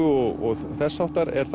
og þess háttar er